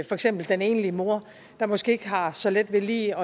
for eksempel den enlige mor der måske ikke har så let ved lige